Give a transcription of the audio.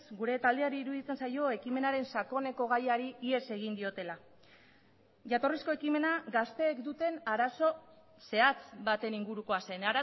gure taldeari iruditzen zaio ekimenaren sakoneko gaiari ihes egin diotela jatorrizko ekimena gazteek duten arazo zehatz baten ingurukoa zen